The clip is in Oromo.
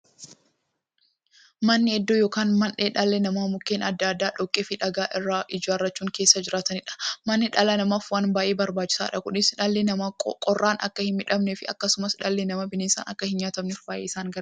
Manni iddoo yookiin mandhee dhalli namaa Mukkeen adda addaa, dhoqqeefi dhagaa irraa ijaarachuun keessa jiraataniidha. Manni dhala namaaf waan baay'ee barbaachisaadha. Kunis, dhalli namaa qorraan akka hinmiidhamneefi akkasumas dhalli namaa bineensaan akka hinnyaatamneef baay'ee isaan gargaara.